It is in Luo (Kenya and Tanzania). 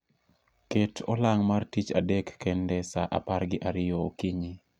Ket olang' mar tich adek kende sa apar gi ariyo okinyi